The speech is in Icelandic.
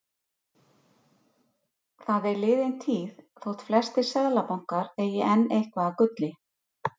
Þetta var gríðarlega góður sigur